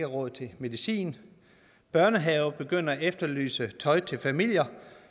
råd til medicin børnehaver begynder at efterlyse tøj til familier